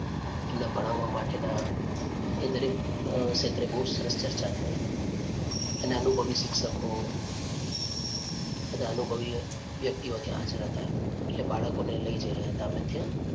એમને ભણાવવા માટે નાં એ દરેક અ ક્ષેત્રે બહુ સરસ ચર્ચા થઈ. અને અનુભવી શિક્ષકો અને બધા અનુભવી વ્યક્તિઓ ત્યાં હાજર હતા એટલે બાળકો ને લઈ જઈ રહ્યા હતા અમે ત્યાં.